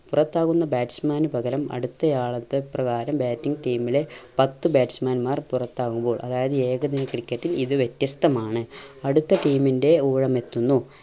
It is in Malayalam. പുറത്താകുന്ന batsman പകരം അടുത്തയാളത്തെ പ്രകാരം batting team ലെ പത്ത് batsman മാർ പുറത്താവുമ്പോൾ അതായത് ഏകദിന ക്രിക്കറ്റിൽ ഇത് വ്യത്യസ്തമാണ്. അടുത്ത team ൻറെ ഊഴം എത്തുന്നു.